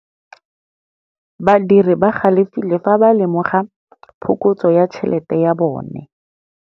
Badiri ba galefile fa ba lemoga phokotsô ya tšhelête ya bone.